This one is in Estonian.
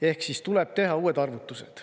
Ehk siis tuleb teha uued arvutused.